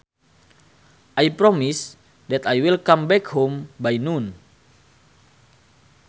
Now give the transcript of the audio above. I promise that I will come back home by noon